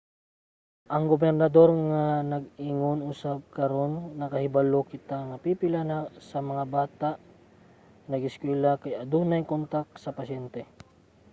ang gobernador nag-ingon usab karon nakahibalo kita nga pipila sa bata nga nag-eskwela kay adunay kontak sa pasyente.